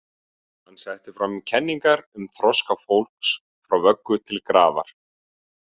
Hann setti fram kenningu um þroska fólks frá vöggu til grafar.